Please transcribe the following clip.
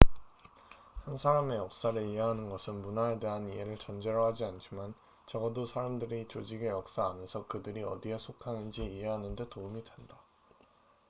한 사람의 역사를 이해하는 것은 문화에 대한 이해를 전제로 하지 않지만 적어도 사람들이 조직의 역사 안에서 그들이 어디에 속하는지 이해하는 데 도움이 된다